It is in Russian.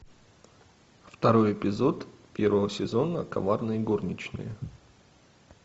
второй эпизод первого сезона коварные горничные